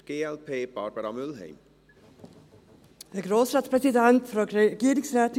Für die glp spricht Barbara Mühlheim.